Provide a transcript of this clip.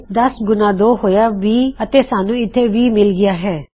10 ਗੁਣਾ 2 ਹੋਇਆ 20 ਅਤੇ ਸਾਨੂੰ ਇੱਥੇ 20 ਮਿਲ ਗਇਆ ਹੈ